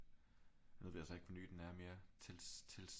Nu ved jeg så ikke hvor ny den er mere